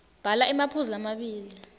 bhala emaphuzu lamabili